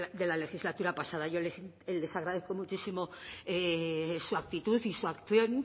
de la legislatura pasada y yo les agradezco muchísimo su actitud y su acción